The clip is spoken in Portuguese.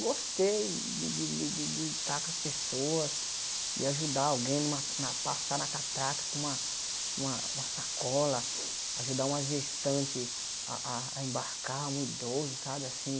Gostei de de de de estar com as pessoas, de ajudar alguém numa na passar na catraca com uma com uma com uma sacola, ajudar uma gestante a a a embarcar, um idoso, sabe assim?